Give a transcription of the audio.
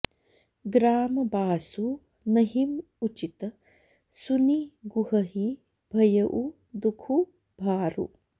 ग्राम बासु नहिं उचित सुनि गुहहि भयउ दुखु भारु